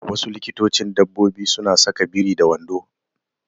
Wasu likitocin dabbobi suna saka biri da wando.